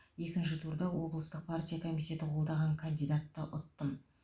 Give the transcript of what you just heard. екінші турда облыстық партия комитеті қолдаған кандидатты ұттым